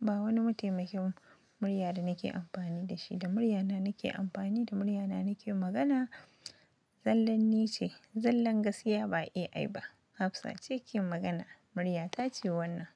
ba wani mataimakin murya da nake amfani da shi. Da muryana nake amfani, da muryana nake magana. Zalanni ce. Zallan gaskiya ba AI ba. Hafsa, ce ke magana. Murya ta ce wannan.